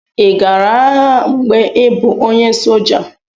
Ị gara agha mgbe ị bụ onye soldier?